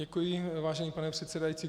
Děkuji, vážený pane předsedající.